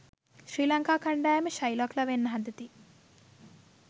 ශ්‍රී ලංකා කණ්ඩායම ශයිලොක්ලා වෙන්න හදති